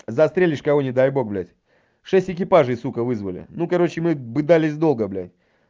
застрелишь кого не дай бог блядь шесть экипажей сука вызвали ну короче мы бы дались долго бля